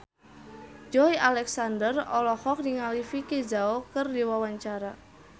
Joey Alexander olohok ningali Vicki Zao keur diwawancara